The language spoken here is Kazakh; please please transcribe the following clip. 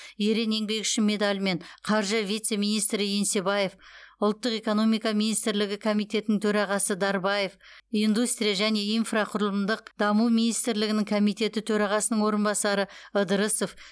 ерен еңбегі үшін медалімен қаржы вице министрі еңсебаев ұлттық экономика министрлігі комитетінің төрағасы дарбаев индустрия және инфрақұрылымдық даму министрлігінің комитеті төрағасының орынбасары ыдырысов